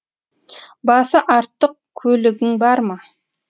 басы артық көлігің бар ма